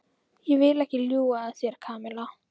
Ég vil ekki ljúga að þér, Kamilla.